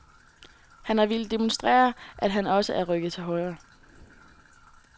Han har villet demonstrere, at han også er rykket til højre.